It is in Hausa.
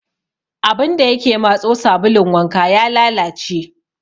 Abun da ya ke matso sabulun wanka ya lalace.